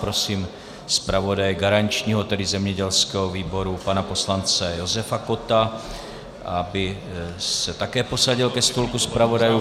Prosím zpravodaje garančního, tedy zemědělského výboru pana poslance Josefa Kotta, aby se také posadil ke stolku zpravodajů.